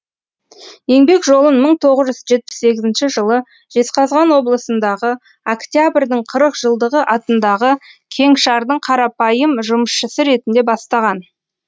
еңбек жолын мың тоғыз жүз жетпіс сегізінші жылы жезқазған облысындағы октябрдің қырық жылдығы атындағы кеңшардың қарапайым жұмысшысы ретінде бастаған